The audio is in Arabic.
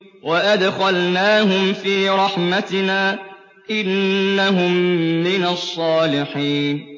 وَأَدْخَلْنَاهُمْ فِي رَحْمَتِنَا ۖ إِنَّهُم مِّنَ الصَّالِحِينَ